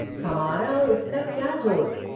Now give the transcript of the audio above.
हमारा और उसका क्या जोड़।